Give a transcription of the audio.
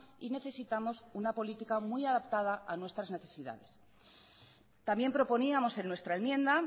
y necesitamos una política muy adaptada a nuestras necesidades también proponíamos en nuestra enmienda